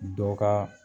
Dɔ ka